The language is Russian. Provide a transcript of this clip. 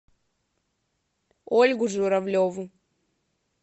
ольгу журавлеву